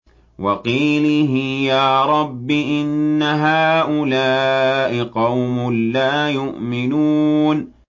وَقِيلِهِ يَا رَبِّ إِنَّ هَٰؤُلَاءِ قَوْمٌ لَّا يُؤْمِنُونَ